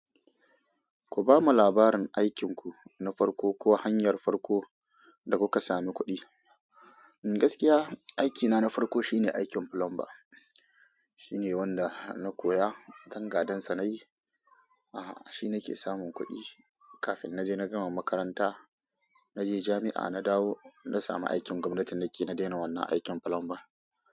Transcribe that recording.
Ku bamu labarin aikinku na farko ko hanyar farko da kuka sami kuɗi. Gaskiya aikina na farko shine aikin plumber. Shine wanda na koya, dan gadansa nayi. Ah shi nake samun kuɗi kafin na je na gama makaranta. Na je jami'a na dawo na sami aikin gwamnati na ke, na daina wannan aikin plumber.